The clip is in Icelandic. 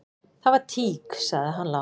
"""Það var tík, sagði hann lágt."""